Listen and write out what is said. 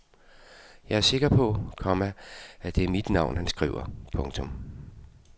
Jeg er sikker på, komma at det er mit navn han skriver. punktum